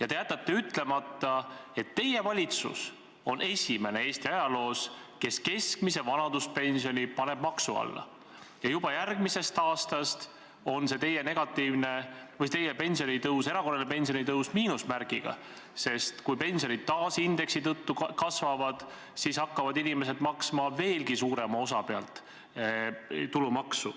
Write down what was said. Aga te jätate ütlemata, et teie valitsus on esimene Eesti ajaloos, kes keskmise vanaduspensioni paneb maksu alla ja juba järgmisest aastast on see teie pensionitõus, see erakorraline pensionitõus, miinusmärgiga, sest kui pensionid taas indeksi tõttu kasvavad, siis hakkavad inimesed maksma veelgi suurema osa pealt tulumaksu.